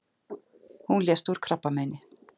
Hún lést úr krabbameini.